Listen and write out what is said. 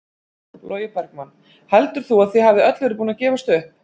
Logi Bergmann: Heldur þú að þið hafið öll verið búin að gefast upp?